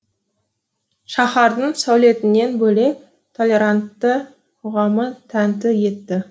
шаһардың сәулетінен бөлек толерантты қоғамы тәнті етті